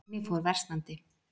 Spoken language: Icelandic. Skyggni fór versnandi.